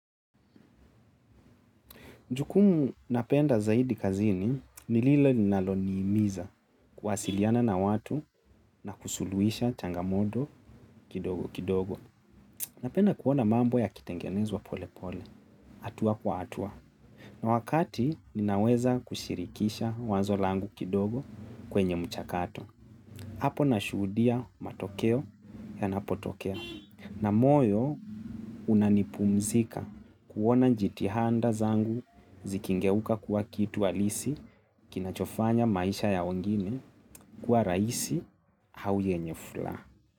Jukumu napenda zaidi kazini, nililo ninalonimiza kuwasiliana na watu na kusuluhisha changamoto kidogo kidogo. Napenda kuona mambo yakitengenezwa pole pole, hatua kwa hatua. Na wakati ninaweza kushirikisha wazo langu kidogo kwenye mchakato. Apo na shuhudia matokeo yanapotokea. Na moyo unanipumzika kuona njitihanda zangu zikingeuka kuwa kitu halisi kinachofanya maisha ya wengine kuwa raisi au yenye fula.